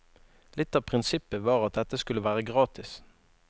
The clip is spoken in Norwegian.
Litt av prinsippet var at dette skulle være gratis.